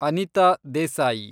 Anita Desai